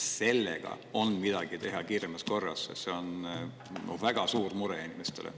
Kas sellega on teha midagi kiiremas korras, sest see on inimestel väga suur mure?